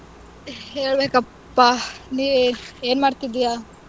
ಹೇಳ್ಬೇಕಪ್ಪಾ, ನೀ ಏನ್ ಮಾಡ್ತಿದ್ದೀಯ?